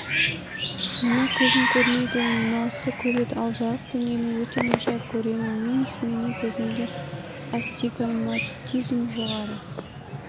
мына көзім көрмейді мынаусы көреді ал жарық дүниені өте нашар көремін минус менің көзімде астигматизм жоғары